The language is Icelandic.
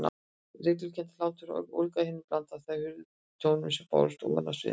Hryglukenndur hláturinn ólgaði í henni og blandaðist þessum furðulegum tónum sem bárust ofan af sviðinu.